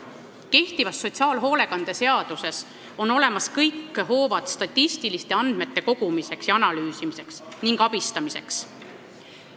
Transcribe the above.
Kehtivas hoolekandeseaduses on olemas kõik hoovad statistiliste andmete kogumiseks ja analüüsimiseks ning noorte inimeste abistamiseks.